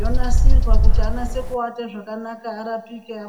yonasirwa kuti anatsokuvata zvakanaka arapike.